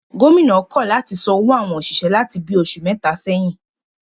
Gómìnà náà kọ̀ láti san owó àwọn òṣìṣẹ́ láti bi oṣù mẹ́ta sẹ́yìn